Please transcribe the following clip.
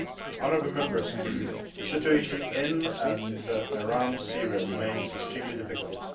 Honourable Members, the situation in and around Syria remains extremely difficult.